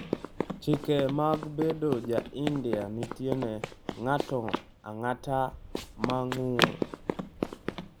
‘Chike mag bedo ja India nitie ne ng’ato ang’ata ma ng’ur.